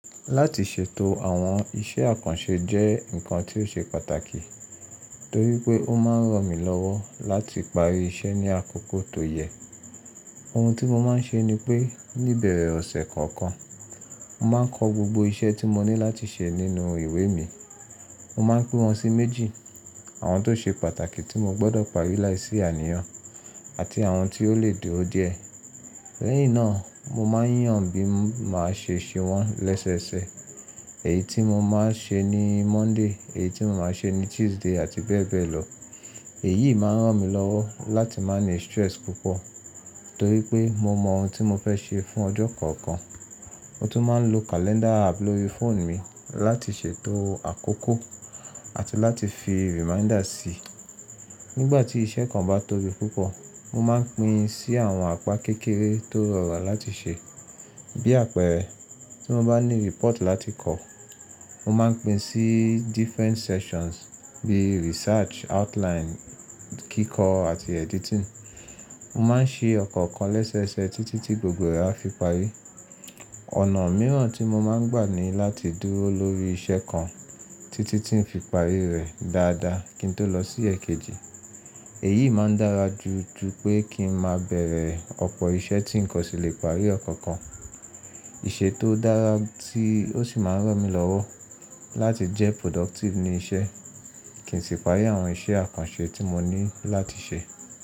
Láti ṣètò àwọn iṣẹ́ àkànṣe jẹ́ ǹkan tí ó ṣe pàtàkì torí pé ó máa ń ràn mí lọ́wọ́ láti parí iṣẹ́ ní àkókò tó yẹ. Ohun tí mo máa ń ṣe ni pé níbẹ̀rẹ̀ ọ̀sẹ̀ kọ̀ọ̀kan, mo máa ń kọ gbogbo iṣẹ́ tí mo ní láti ṣe nínú ìwé mi. Mo máa ń pín wọn sí méjì: àwọn tó ṣe pàtàkì tí mo gbọdọ̀ parí láìsí àníyàn àti àwọn tí ó lè dúró díẹ̀. Lẹ́yìn náà, mo máa ń yàn bí máa ṣe ṣe wọ́n lẹ́sẹẹsẹ. Èyí tí mo máa ṣe ní Monday, èyí tí mo máa ṣe ní Tuesday àti bẹ́ẹ̀ bẹ́ẹ̀ lọ. Èyí máa ń ràn mí lọ́wọ́ láti má ni stress púpọ̀ torí pé mo mọ ohun tí mo fẹ́ ṣe fún ọjọ́ kọ̀ọ̀kan. Mo tún máa ń lo calendar app lórí phone mi láti ṣètò àkókò àti láti fi reminder sí. Nígbà tí iṣẹ́ kan bá tóbi púpọ̀, mo máa ń pín sí àwọn apa kékeré tó rọrùn láti ṣe. Bí àpẹẹrẹ, tí mo bá ní report láti kọ, mo máa ń pín sí different sections bí research, outline, kíkọ àti editing. Mo máa ń ṣe ọ̀kọ̀ọ̀kan lẹ́sẹẹsẹ títí tí gbogbo rẹ̀ á fi parí. Ọ̀nà mìíràn tí mo máa ń gbà ní láti dúró lórí iṣẹ́ kan títí tí n fi parí rẹ̀ dáadáa kí n tó lọ sí èkejì. Èyí máa ń dára jù jù pé kí n máa bẹ̀rẹ̀ ọ̀pọ̀ iṣẹ́ tí nǹkan sì lè parí kọ̀ọ̀kan. Láti ṣètò àwọn iṣẹ́ àkànṣe jẹ́ ǹkan tí ó ṣe pàtàkì torí pé ó máa ń ràn mí lọ́wọ́ láti parí iṣẹ́ ní àkókò tó yẹ.